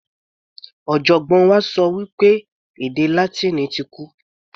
Ọ̀jọ̀gbọ́n wa sọ pé èdè Látíìnì ti kú.